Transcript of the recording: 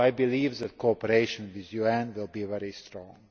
So I believe that cooperation with the UN will be very strong.